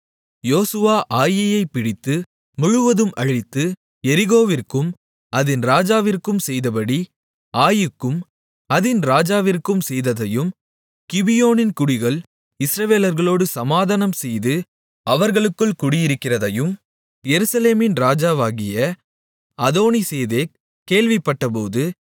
யோசுவா ஆயீயைப் பிடித்து முழுவதும் அழித்து எரிகோவிற்கும் அதின் ராஜாவிற்கும் செய்தபடி ஆயீக்கும் அதின் ராஜாவிற்கும் செய்ததையும் கிபியோனின் குடிகள் இஸ்ரவேலர்களோடு சமாதானம்செய்து அவர்களுக்குள் குடியிருக்கிறதையும் எருசலேமின் ராஜாவாகிய அதோனிசேதேக் கேள்விப்பட்டபோது